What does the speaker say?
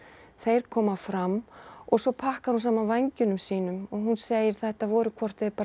þeir koma fram svo pakkar hún saman vængjunum sínum og hún segir þetta voru hvort eð er bara